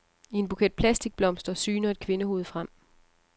I en buket plastikblomster syner et kvindehoved frem.